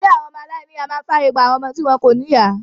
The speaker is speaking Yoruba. Ilé àwọn ọmọ aláìníìyá máa ń fàyè gba àwọn ọmọ tí wọn kò ní ìyá.